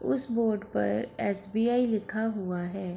उस बोर्ड पर एस.बी.आई. लिखा हुआ है।